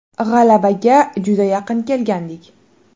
G‘alabaga juda yaqin kelgandik.